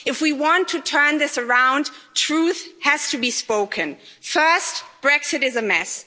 If we want to turn this around, truth has to be spoken. First, Brexit is a mess.